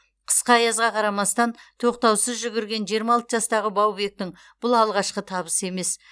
қысқы аязға қарамастан тоқтаусыз жүгірген жиырма алты жастағы баубектің бұл алғашқы табысы емес